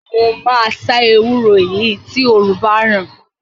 Mo máa sá ewúro yìí tí òrùn báràn.